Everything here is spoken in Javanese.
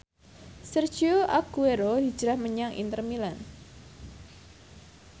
Sergio Aguero hijrah menyang Inter Milan